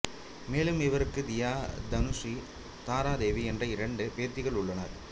மேலும் இவருக்கு தியா தனுஸ்ரீ தாரா தேவி என்ற இரண்டு பேத்திகள் உள்ளனர்